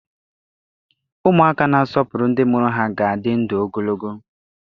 Ụmụaka na-asọpụrụ ndị mụrụ ha ga-adị ndụ ogologo.